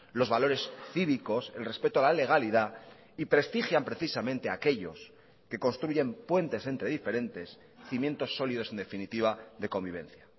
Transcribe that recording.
los valores cívicos el respeto a la legalidad y prestigian precisamente aquellos que construyen puentes entre diferentes cimientos sólidos en definitiva de convivencia